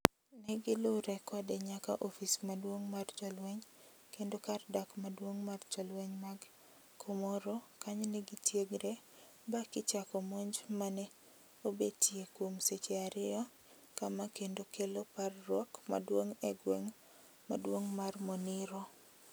negilure kode nyaka ofis maduong' mar jolweny kendo kar dak maduong' mar jolweny mag Komoro kanyo negitiegre ba kichako monj ma ne obetiye kuom seche ario kama kendo kelo parruok maduong' e gweng' maduong' mar moniro